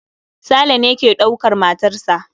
Saleh ne ke dukar matarsa